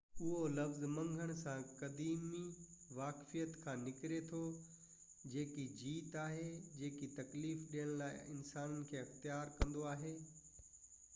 اهو لفظ منگهڻ سان قديمي واقفيت کان نڪري ٿو جيڪي جيت آهن جيڪي تڪليف ڏيڻ لاءِ انسانن کي اختيار ڪندو آهي